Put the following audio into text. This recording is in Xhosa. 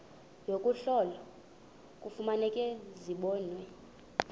yokuhlola kufuneka zibonwe